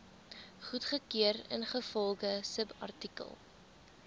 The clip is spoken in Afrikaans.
goedgekeur ingevolge subartikel